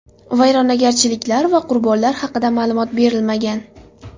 Vayronagarchiliklar va qurbonlar haqida ma’lumot berilmagan.